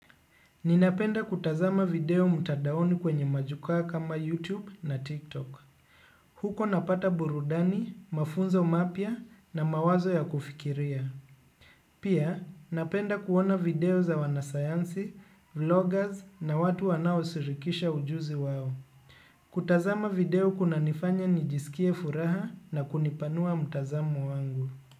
Ninapenda kutazama video mtandaoni kwenye majukwaa kama YouTube na TikTok. Huko napata burudani, mafunzo mapya na mawazo ya kufikiria. Pia, napenda kuona video za wanasayansi, vloggers na watu wanao shirikisha ujuzi wao. Kutazama video kuna nifanya nijisikie furaha na kunipanua mtazamo wangu.